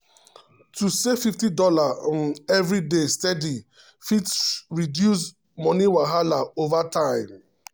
to save fifty dollar um every day steady um fit reduce money wahala over time. um